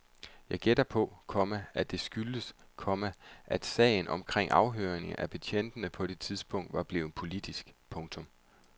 Jeg gætter på, komma at det skyldtes, komma at sagen omkring afhøringerne af betjentene på det tidspunkt var blevet politisk. punktum